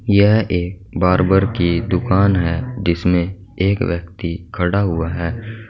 यह एक बार्बर की दुकान है जिसमें एक व्यक्ति खड़ा हुआ है।